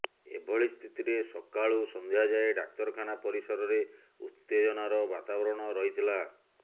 ଏଭଳି ସ୍ଥିତିରେ ସକାଳୁ ସଂଧ୍ୟା ଯାଏ ଡାକ୍ତରଖାନା ପରିସରରେ ଉତ୍ତେଜନାର ବାତାବରଣ ରହିଥିଲା